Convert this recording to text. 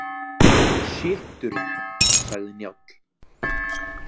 Sjitturinn, sagði Njáll.